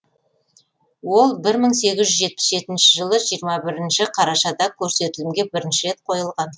ол бір мың сегіз жүз жетпіс жетінші жылы жиырма бірінші қарашада көрсетілімге бірінші рет қойылған